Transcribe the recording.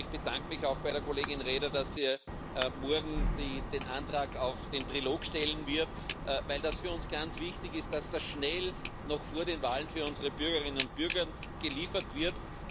Und ich bedanke mich auch bei Kollegin Reda, dass sie morgen den Antrag auf den Trilog stellen wird, weil es für uns ganz wichtig ist, dass das schnell noch vor den Wahlen für unsere Bürgerinnen und Bürgern zustande gebracht wird.